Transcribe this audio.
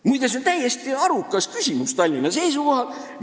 Muide, see on täiesti arukas küsimus Tallinna seisukohalt.